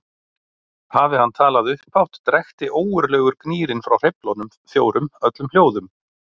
Hafi hann talað upphátt drekkti ógurlegur gnýrinn frá hreyflunum fjórum öllum hljóðum.